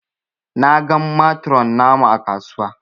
Na gan matron namu ã kasuwa.